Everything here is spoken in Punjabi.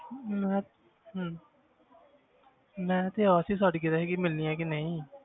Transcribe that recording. ਮੈਂ ਹਮ ਮੈਂ ਤੇ ਆਸ ਹੀ ਛੱਡ ਗਿਆ ਸੀ ਕਿ ਮਿਲਣੀ ਹੈ ਕਿ ਨਹੀਂ